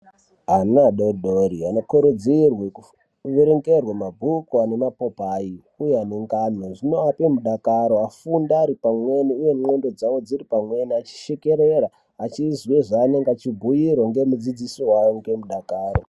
Ana adodori anokurudzirwe kuverengerwe mabhuku ane mapopayi uye ane ngano zvinoape mudakaro afunde ari pamweni uye ndxondo dzawo dziri pamweni achishekerera achizwe zvaanenge eibhuirwa ngemudzidzisi wawo ngemudakaro.